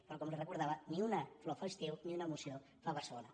però com li recor·dava ni una flor fa estiu ni una moció fa barcelona